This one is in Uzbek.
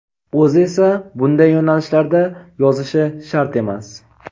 O‘zi esa bunday yo‘nalishlarda yozishi shart emas.